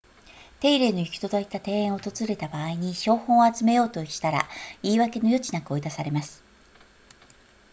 手入れの行き届いた庭園を訪れた場合に標本を集めようとしたら言い訳の余地なく追い出されます